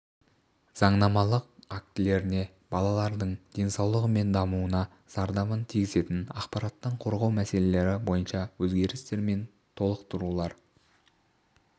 заңнамалық актілеріне балалардың денсаулығы мен дамуына зардабын тигізетін ақпараттан қорғау мәселелері бойынша өзгерістер мен толықтырулар